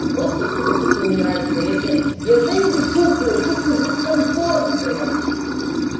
он просто сука тупо не нравится я себя я знаете что чувствую я чувствую дискомфорт блять